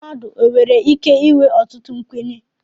mmadụ e nwere ike inwe ọtụtụ nkwenye